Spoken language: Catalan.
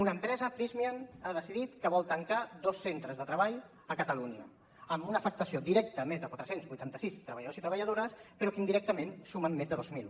una empresa prysmian ha decidit que vol tancar dos centres de treball a catalunya amb una afectació directa a més de quatre cents i vuitanta sis treballadors i treballadores però que indirectament sumen més de dos mil